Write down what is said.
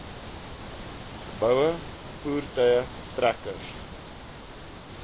geboue voertuie trekkers